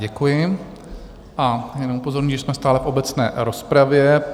Děkuji a jenom upozorňuji, že jsme stále v obecné rozpravě.